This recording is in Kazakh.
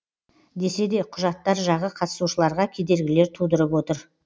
десе де құжаттар жағы қатысушыларға кедергілер тудырып отыр